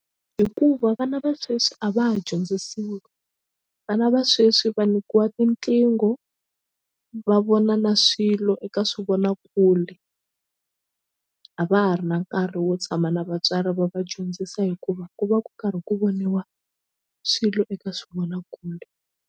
Hikuva vana va sweswi a va ha dyondzisiwi vana va sweswi va nyikiwa tiqingho va vona na swilo eka swivonakule a va ha ri na nkarhi wo tshama na vatswari va va dyondzisa hikuva ku va ku karhi ku voniwa swilo eka swivonakule.